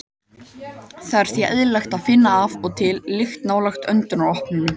Það er því eðlilegt að finna af og til lykt nálægt öndunaropunum.